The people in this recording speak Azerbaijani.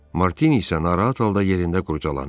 Martini isə narahat halda yerində qurcalanırdı.